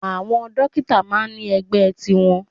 Àwọn Dókítà máà ń ní ẹgbẹ́ tiwọn.